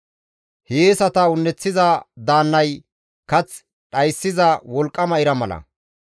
Hiyeesata un7eththiza daannay kath dhayssiza wolqqama ira mala.